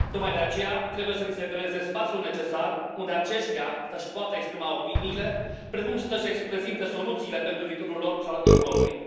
Tocmai de aceea trebuie să li se creeze spațiul necesar unde aceștia să își poată exprima opiniile, precum și să își prezinte soluțiile pentru viitorul lor și al Europei.